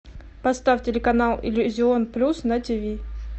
поставь телеканал иллюзион плюс на тв